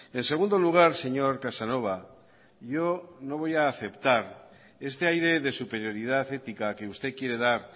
en segundo lugar señor casanova yo no voy a aceptar este aire de superioridad ética que usted quiere dar